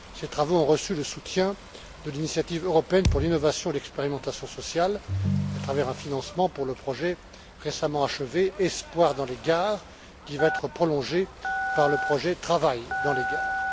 Ces travaux ont reçu le soutien de l'initiative européenne pour l'innovation et l'expérimentation sociale à travers un financement pour le projet récemment achevé espoir dans les gares, qui va être prolongé par le projet travail dans les gares.